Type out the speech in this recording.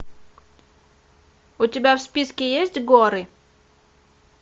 у тебя в списке есть горы